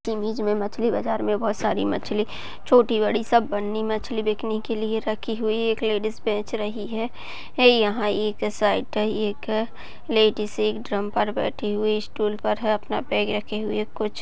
एक मछली बाजार में छोटी और बड़ी मछली सब बेचने के लिए रखी हुई है एक लेडिस बेच रही है यहाँ पर एक साड़ी पहने लेडीज एक ड्रम पर बैठी हुई है स्टूल पर बैग रखे हुए हैं कुछ--